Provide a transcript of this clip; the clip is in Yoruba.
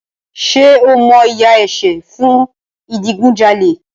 Ṣé o mọ ìyà ẹ̀ṣẹ̀ fún ìdigunjalè?